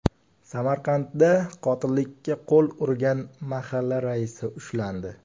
Samarqandda qotillikka qo‘l urgan mahalla raisi ushlandi.